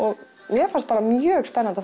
mér fannst mjög spennandi